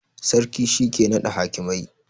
Sarki shi ke nada hakimai